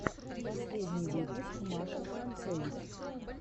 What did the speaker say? последний выпуск маша францевич